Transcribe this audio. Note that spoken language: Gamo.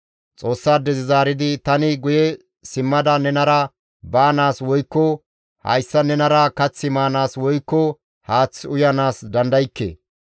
Xoossaadezi zaaridi, «Tani guye simmada nenara baanaas, woykko hayssan nenara kath maanaas, woykko haath uyanaas dandaykke.